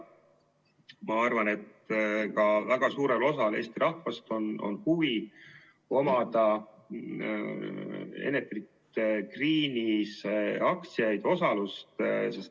Ma arvan, et ka väga suurel osal Eesti rahvast on huvi omada Enefit Greeni aktsiaid.